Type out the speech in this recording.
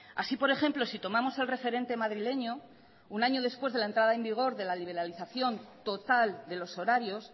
así por ejemplo si tomamos el referente madrileño un año después de la entrada en vigor de la liberalización total de los horarios